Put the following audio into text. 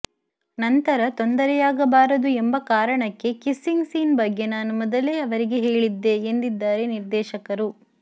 ನಂತರ ತೊಂದರೆಯಾಗಬಾರದು ಎಂಬ ಕಾರಣಕ್ಕೆ ಕಿಸ್ಸಿಂಗ್ ಸೀನ್ ಬಗ್ಗೆ ನಾನು ಮೊದಲೇ ಅವರಿಗೆ ಹೇಳಿದ್ದೆ ಎಂದಿದ್ದಾರೆ ನಿರ್ದೇಶಕರು